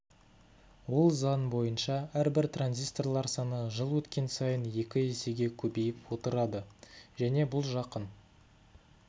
ол заң бойынша әрбір транзисторлар саны жыл өткен сайын екі есеге көбейіп отырады және бұл жақын